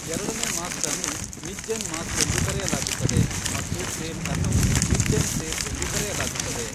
ಎರಡನೇ ಮಾಸ್ಟ್ ಅನ್ನು mizzen mast ಎಂದು ಕರೆಯಲಾಗುತ್ತದೆ ಮತ್ತು ಸೇಲ್ ಅನ್ನು ಮಿಜ್ಜೆನ್ ಸೇಲ್ ಎಂದು ಕರೆಯಲಾಗುತ್ತದೆ.